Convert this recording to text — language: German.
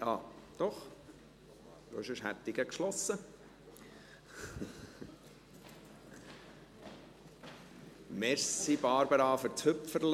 Das ist nicht … Doch, denn sonst hätte ich gleich geschlossen.